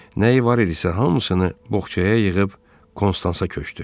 Nəyi var idisə hamısını boğçaya yığıb Konstansaya köçdü.